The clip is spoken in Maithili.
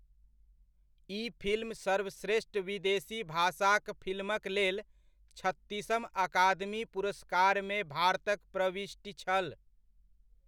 ई फिल्म सर्वश्रेष्ठ विदेशी भाषाक फिल्मक लेल, छत्तीसम अकादमी पुरस्कारमे भारतक प्रविष्टि छल।